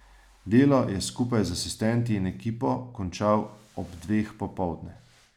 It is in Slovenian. Delo je skupaj z asistenti in ekipo končal ob dveh popoldne.